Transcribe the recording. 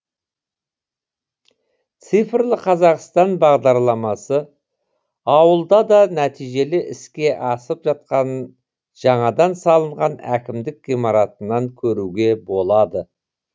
цифрлы қазақстан бағдарламасы ауылда да нәтижелі іске асып жатқанын жаңадан салынған әкімдік ғимаратынан көруге болады